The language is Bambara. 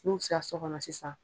N'u sera so kɔnɔ sisan